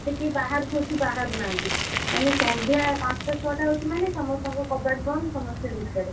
ଏତେ କିଏ ବାହାରକୁ ଏଠି ବାହାରୁ ନାହାନ୍ତି ମାନେ ସନ୍ଧ୍ୟା ପାଞ୍ଚଟା ଛଅଟା ହଉଛି ମାନେ ସମସ୍ତଙ୍କ କବାଟ ବନ୍ଦ ସମସ୍ତେ ଭିତରେ।